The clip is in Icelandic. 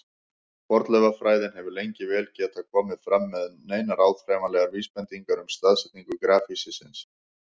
Fornleifafræðin hefur lengi vel ekki getað komið fram með neinar áþreifanlegar vísbendingar um staðsetningu grafhýsisins.